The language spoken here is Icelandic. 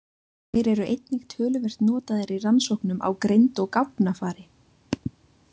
Þeir eru einnig töluvert notaðir í rannsóknum á greind og gáfnafari.